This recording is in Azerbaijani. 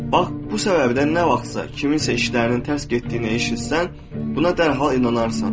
Bax bu səbəbdən nə vaxtsa kiminsə işlərinin tərs getdiyini eşitsən, buna dərhal inanarsan.